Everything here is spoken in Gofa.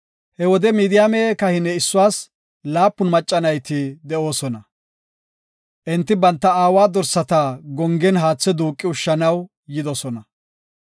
He wode Midiyaame kahine issuwas laapun macca nayti de7oosona. Enti banta aawa dorsata gongen haathe duuqi ushshanaw yidosona.